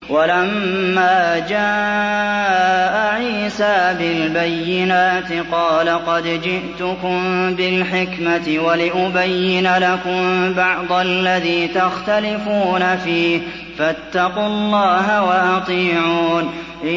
وَلَمَّا جَاءَ عِيسَىٰ بِالْبَيِّنَاتِ قَالَ قَدْ جِئْتُكُم بِالْحِكْمَةِ وَلِأُبَيِّنَ لَكُم بَعْضَ الَّذِي تَخْتَلِفُونَ فِيهِ ۖ فَاتَّقُوا اللَّهَ وَأَطِيعُونِ